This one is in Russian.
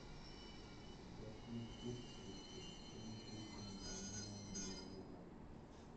какие скидки при длительном бронировании номера